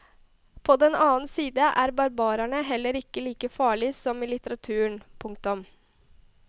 På den annen side er barbarene heller ikke like farlige som i litteraturen. punktum